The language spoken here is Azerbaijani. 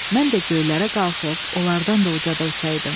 Mən də göylərə qalxıb onlardan da ucada uçaydım.